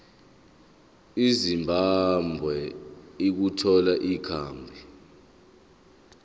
ezimbabwe ukuthola ikhambi